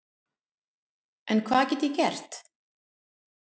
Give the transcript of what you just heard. En hvað get ég gert?